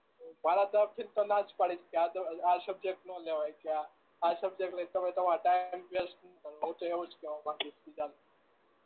મારા તરફ થી ન તો ના જ પાડીશ કે આ સબ આ સબ્જેક્ટ ન લેવાય કે આ આ સબ્જેક્ટ લઈ ને તમે તમારો ટાઇમ વેસ્ટ ન કરવો હું તો એવું જ કેવા માગીશ બીજા ને